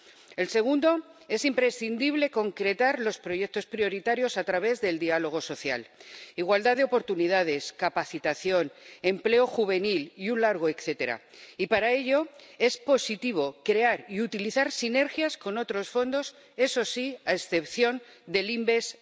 En cuanto al segundo, es imprescindible concretar los proyectos prioritarios a través del diálogo social —igualdad de oportunidades, capacitación, empleo juvenil y un largo etcétera— y, para ello, es positivo crear y utilizar sinergias con otros fondos —eso sí, a excepción del InvestEU—.